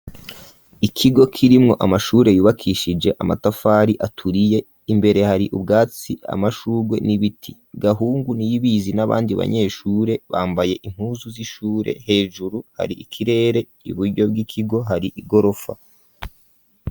Ikigo kirimwo, amashure yubakishije amatafari, aturiye, imbere hari ubwatsi, amashurwe, n'ibiti; Gahungu, Niyibizi, n'abandi banyeshure, bambaye impuzu z'ishure; hejuru, hari ikirere; iburyo bw'ikigo, hari igorofa.